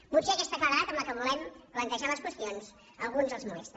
potser aquesta claredat amb què volem plantejar les qüestions a alguns els molesta